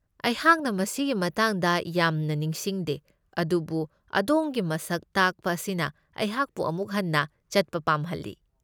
ꯑꯩꯍꯥꯛꯅ ꯃꯁꯤꯒꯤ ꯃꯇꯥꯡꯗ ꯌꯥꯝꯅ ꯅꯤꯡꯁꯤꯡꯗꯦ ꯑꯗꯨꯕꯨ ꯑꯗꯣꯝꯒꯤ ꯃꯁꯛ ꯇꯥꯛꯄ ꯑꯁꯤꯅ ꯑꯩꯍꯥꯛꯄꯨ ꯑꯃꯨꯛ ꯍꯟꯅ ꯆꯠꯄ ꯄꯥꯝꯍꯜꯂꯤ꯫